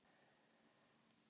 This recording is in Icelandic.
Bara að vera næs.